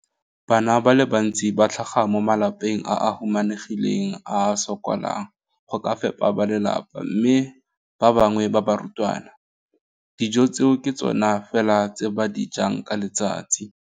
Bana ba le bantsi ba tlhaga mo malapeng a a humanegileng a a sokolang go ka fepa ba lelapa mme ba bangwe ba barutwana, dijo tseo ke tsona fela tse ba di jang ka letsatsi.